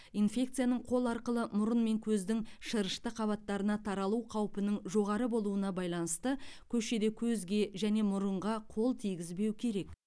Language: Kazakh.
инфекцияның қол арқылы мұрын мен көздің шырышты қабаттарына таралу қаупінің жоғары болуына байланысты көшеде көзге және мұрынға қол тигізбеу керек